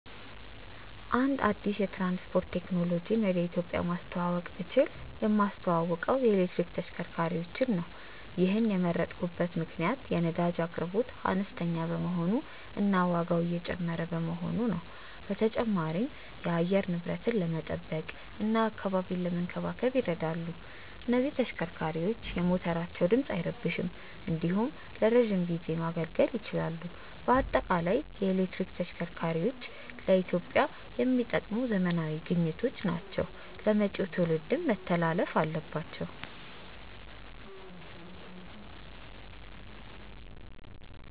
አንድ አዲስ የትራንስፖርት ቴክኖሎጂን ወደ ኢትዮጵያ ማስተዋወቅ ብችል የማስተዋውቀው የኤሌክትሪክ ተሽከርካሪዎችን ነው። ይሔንን የመረጥኩበት ምክንያት የነዳጅ አቅርቦት አነስተኛ በመሆኑ እና ዋጋው እየጨመረ በመሆኑ ነው። በተጨማሪም የአየር ንብረትን ለመጠበቅ እና አካባቢን ለመንከባከብ ይረዳሉ። እነዚህ ተሽከርካሪዎች የሞተራቸው ድምፅ አይረብሽም እንዲሁም ለረዥም ጊዜ ማገልገል ይችላሉ። በአጠቃላይ የኤሌክትሪክ ተሽከርካሪዎች ለኢትዮጵያ የሚጠቅሙ ዘመናዊ ግኝቶች ናቸው ለመጪው ትውልድ መተላለፍም አለባቸው።